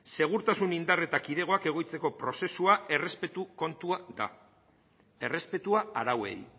segurtasun indar eta kidegoak egoitzeko prozesua errespetu kontua da errespetua arauei